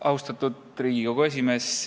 Austatud Riigikogu esimees!